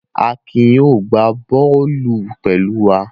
Akin yóò gbá bọ́ọ́lù pẹ̀lú wa.